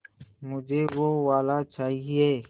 मुझे वो वाला चाहिए